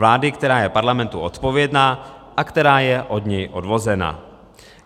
Vlády, která je Parlamentu odpovědná a která je od něj odvozena.